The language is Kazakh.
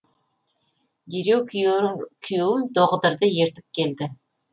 дереу күйеуім доғдырды ертіп келді